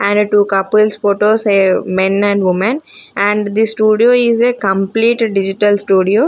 and two couples photos a men and women and this studio is a complete digital studio.